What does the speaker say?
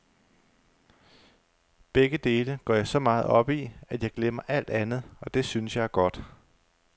Begge dele går jeg så meget op i, at jeg glemmer alt andet, og det synes jeg er godt.